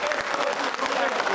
Bu gün siz buradasınız.